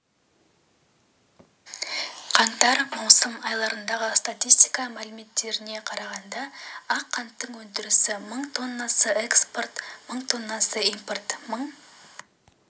қаңтар-маусым айларындағы статистика мәліметтеріне қарағанда ақ қанттың өндірісі мың тоннаны экспорт мың тоннаны импорт мың